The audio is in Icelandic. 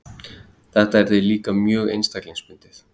Þetta yrði líka mjög einstaklingsbundið.